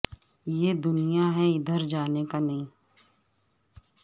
یہ دنیا ہے ادھر جانے کا نہیں